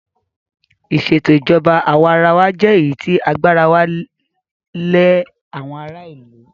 Ìsètò ìjọba àwa arawa jẹ́ èyí tí agbára wà lẹ àwọn ará ìlú.